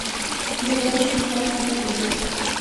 веревочный парк в отеле